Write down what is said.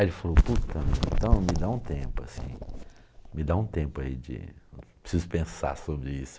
Aí ele falou, puta meu, me dá me dá um tempo, me dá um tempo aí, preciso pensar sobre isso.